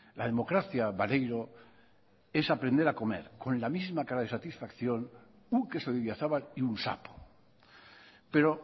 la democracia maneiro es aprender a comer con la misma cara de satisfacción un queso de idiazabal y un sapo pero